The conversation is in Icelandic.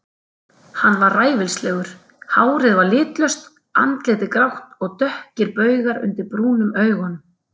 Hann var ræfilslegur, hárið var litlaust, andlitið grátt og dökkir baugar undir brúnum augunum.